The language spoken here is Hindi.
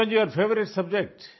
which one is your favourite subject